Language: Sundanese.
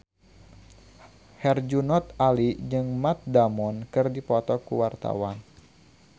Herjunot Ali jeung Matt Damon keur dipoto ku wartawan